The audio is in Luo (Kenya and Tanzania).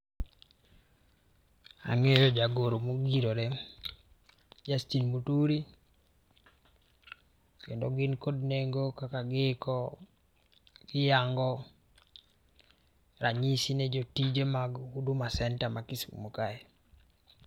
Ang'eyo jagoro mongirore Justin Muturi kendo gin kod nengo kaka giiko, giyango ranyisi ni jotije mag Huduma Centre ma Kisumo kae.